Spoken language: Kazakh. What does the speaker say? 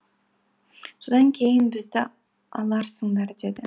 содан кейін бізді аларсыңдар деді